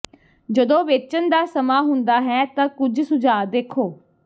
ਜਦੋਂ ਵੇਚਣ ਦਾ ਸਮਾਂ ਹੁੰਦਾ ਹੈ ਤਾਂ ਕੁਝ ਸੁਝਾਅ ਦੇਖੋ